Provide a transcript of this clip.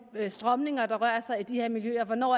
strømninger der rører sig i de her miljøer og hvornår